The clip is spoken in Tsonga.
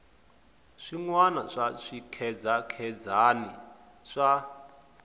swin wana swa swikhedzakhedzani swa